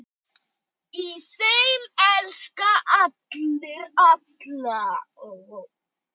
Í þeim elska allir alla.